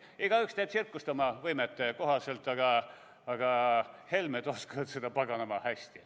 Igaüks teeb tsirkust oma võimete kohaselt, aga Helmed oskavad seda paganama hästi.